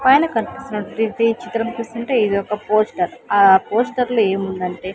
పైన కనిపిస్తున్నటువంటి ఈ చిత్రం చూస్తుంటే ఇదొక పోస్టర్ ఆ పోస్టర్లో ఏముందంటే--